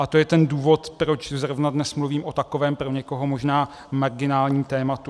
A to je ten důvod, proč zrovna dnes mluvím o takovém pro někoho možná marginálním tématu.